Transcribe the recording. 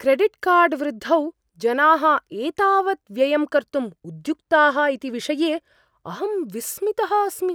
क्रेडिट्कार्ड्वृद्धौ जनाः एतावत् व्ययं कर्तुम् उद्युक्ताः इति विषये अहं विस्मितः अस्मि।